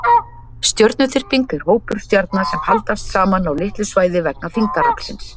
Stjörnuþyrping er hópur stjarna sem haldast saman á litlu svæði vegna þyngdaraflsins.